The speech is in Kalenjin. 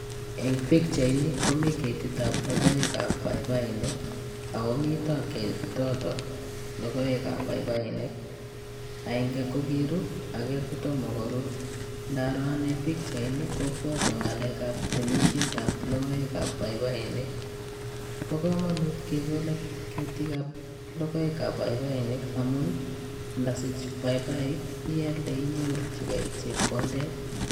En pichaini komii ketik ab lokoek ab baibainik ako miton ketoton lokoek ab baibainik aenge ko kirur ake kotomo korur, ndaro ane pichaini kobwotwon ngalek ab temishet ab lokoek ab baibainik, bo komonut kekole ketik ab lokoek ab baibainik amun indosich baibaik ialde inyorji gee chepkondet.